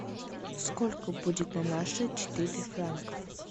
сколько будет на наши четыре франков